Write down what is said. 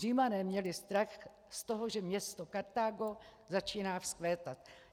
Římané měli strach z toho, že město Kartágo začíná vzkvétat.